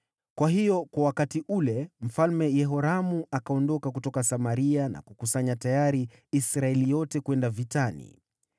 Kwa hiyo wakati ule Mfalme Yehoramu akaondoka kutoka Samaria na kukusanya Israeli yote tayari kwenda vitani.